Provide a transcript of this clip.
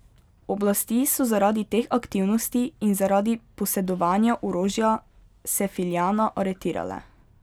Oblasti so zaradi teh aktivnosti in zaradi posedovanja orožja Sefiljana aretirale.